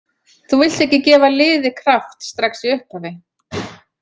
Þú vilt ekki gefa liði kraft strax í upphafi.